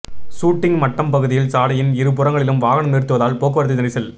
shooting Mattam பகுதியில் சாலையின் இரு புறங்களிலும் வாகனம் நிறுத்துவதால் போக்குவரத்து நெரிசல்